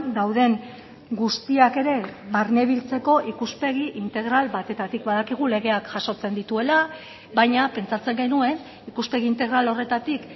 dauden guztiak ere barnebiltzeko ikuspegi integral batetatik badakigu legeak jasotzen dituela baina pentsatzen genuen ikuspegi integral horretatik